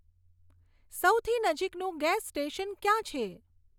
સૌથી નજીકનું gas station ક્યાં છે